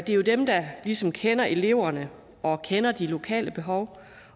jo dem der ligesom kender eleverne og kender de lokale behov